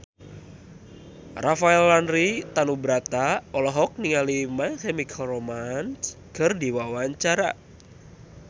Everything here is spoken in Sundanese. Rafael Landry Tanubrata olohok ningali My Chemical Romance keur diwawancara